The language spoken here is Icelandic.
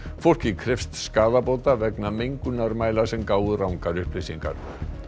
fólkið krefst skaðabóta vegna mengunarmæla sem gáfu rangar upplýsingar